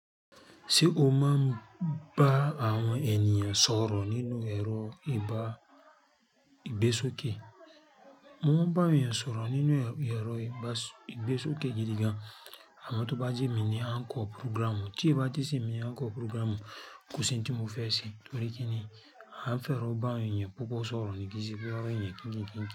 Ṣé o máa ń bá àwọn ènìyàn sọ̀rọ̀ nínú ẹ̀rọ ìgbésókè? Mo ń bá ènìyàn sọ̀rọ̀ nínú ẹ̀rọ ìgbésókè gidi gan. Àmọn tó bá jẹ́ mi ní "encore programme", tí o bá ti se mi ní "encore programme", kò sí ohun tí mo fẹ́ ṣe torí pé kí ni anfi ero bá ènìyàn púpọ̀ sọ̀rọ̀ ni kí sí pe awon ènìyàn kíń kíń kíń kíń.